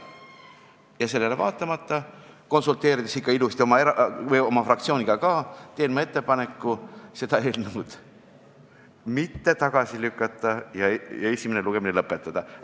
Ja sellele vaatamata, konsulteerinud ikka ilusti oma fraktsiooniga ka, teen ma ettepaneku seda eelnõu mitte tagasi lükata ja esimene lugemine lõpetada.